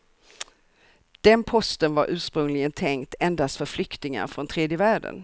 Den posten var ursprungligen tänkt endast för flyktingar från tredje världen.